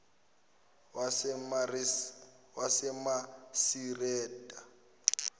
wasemasireta